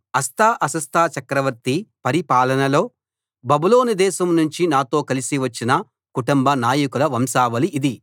అర్తహషస్త చక్రవర్తి పరిపాలనలో బబులోను దేశం నుంచి నాతో కలసి వచ్చిన కుటుంబ నాయకుల వంశావళి ఇది